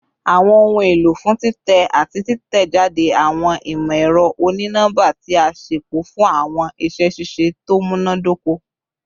Awọn ohun elo fun titẹ ati titẹjade awọn imọ-ẹrọ oni-nọmba ti a ṣepọ fun awọn iṣẹ ṣiṣe to munadoko